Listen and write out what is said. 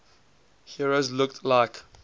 heroes looked like